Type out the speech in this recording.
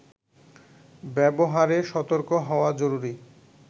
ব্যবহারে সতর্ক হওয়া জরুরি